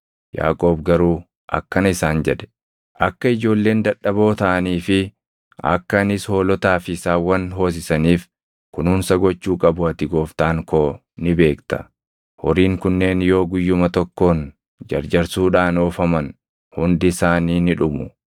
Yaaqoob garuu akkana isaan jedhe; “Akka ijoolleen dadhaboo taʼanii fi akka anis hoolotaa fi saawwan hoosisaniif kunuunsa gochuu qabu ati gooftaan koo ni beekta. Horiin kunneen yoo guyyuma tokkoon jarjarsuudhaan oofaman hundi isaanii ni dhumu.